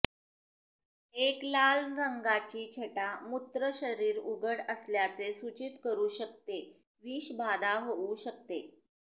एक लाल रंगाची छटा मूत्र शरीर उघड असल्याचे सूचित करू शकते विषबाधा होऊ शकते